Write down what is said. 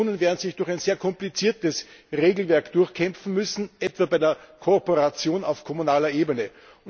Kommunen werden sich durch ein sehr kompliziertes Regelwerk durchkämpfen müssen, etwa bei der Kooperation auf kommunaler Ebene.